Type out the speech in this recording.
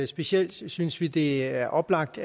specielt synes synes vi det er oplagt